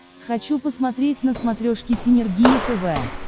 хочу посмотреть на смотрешке синергия тв